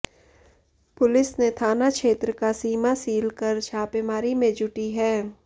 police ने थाना क्षेत्र का सीमा सील कर छापेमारी में जुटी हैं